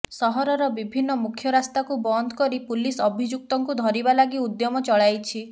ସହରର ବିଭିନ୍ନ ମୁଖ୍ୟ ରାସ୍ତାକୁ ବନ୍ଦ କରି ପୁଲିସ ଅଭିଯୁକ୍ତଙ୍କୁ ଧରିବା ଲାଗି ଉଦ୍ୟମ ଚଳାଇଛି